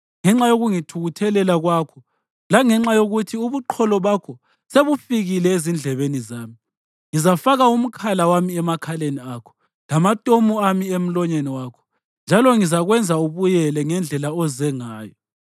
Ngenxa yokungithukuthelela kwakho langenxa yokuthi ubuqholo bakho sebufikile ezindlebeni zami, ngizafaka umkhala wami emakhaleni akho lamatomu ami emlonyeni wakho, njalo ngizakwenza ubuyele ngendlela oze ngayo.